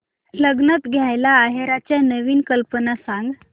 लग्नात द्यायला आहेराच्या नवीन कल्पना सांग